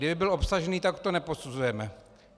Kdyby byl obsažný, tak to neposuzujeme.